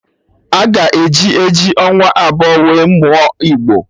A ga-eji eji ọnwa abụọ wee mụọ igbo